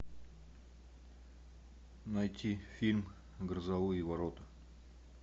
найти фильм грозовые ворота